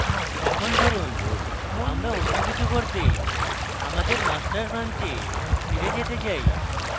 এখন ধরুন আমরা অন্য কিছু করতে আমাদের master branch ফিরে যেতে চাই